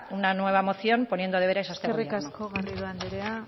una nueva moción poniendo deberes a este gobierno eskerrik asko garrido anderea